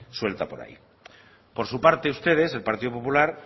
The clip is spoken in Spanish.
suelta por ahí por su parte ustedes el partido popular